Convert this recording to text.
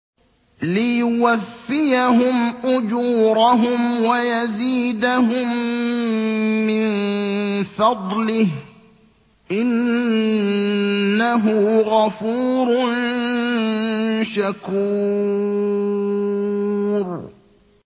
لِيُوَفِّيَهُمْ أُجُورَهُمْ وَيَزِيدَهُم مِّن فَضْلِهِ ۚ إِنَّهُ غَفُورٌ شَكُورٌ